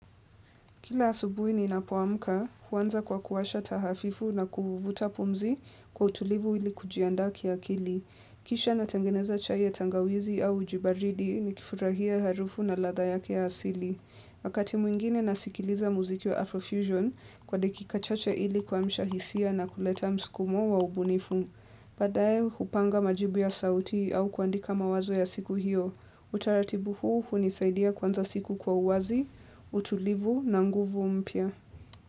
Kila asubuhi ninapoamka, huanza kwa kuwasha taa hafifu na kuvuta pumzi kwa utulivu ili kujianda kia kili. Kisha natengeneza chai ya tangawizi au uji baridi nikifurahia harufu na latha yake ya asili. Wakati mwingine nasikiliza muziki wa Afrofusion kwa dakika chache ili kuamsha hisia na kuleta msukumo wa ubunifu. Baadaye hupanga majibu ya sauti au kuandika mawazo ya siku hiyo Utaratibu huu hunisaidia kuanza siku kwa uwazi, utulivu na nguvu mpya.